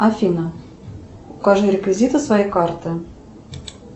афина укажи реквизиты своей карты